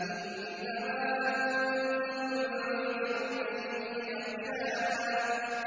إِنَّمَا أَنتَ مُنذِرُ مَن يَخْشَاهَا